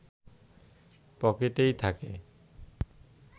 পকেটেই থাকে